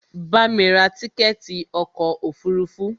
Bamí ra tíkẹ̀ẹ̀ti ọkò òfurufú!